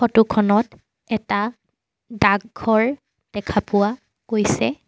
Photo খনত এটা ডাকঘৰ দেখা পোৱা গৈছে।